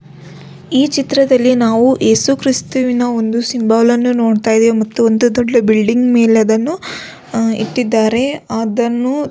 ಈ ಚಿತ್ರದಲ್ಲಿ ನಾವು ಯೇಸು ಕ್ರಿಸ್ತುವಿನ ಒಂದು ಸಿಂಬಲ್ ಅನ್ನು ನೋಡತ್ತಾ ಇದೀವಿ ಮತ್ತು ಒಂದು ದೊಡ್ಡ ಬಿಲ್ಡಿಂಗ್ ಮೇಲೆ ಅದನ್ನು ಇಟ್ಟಿದ್ದಾರೆ ಅದನ್ನು --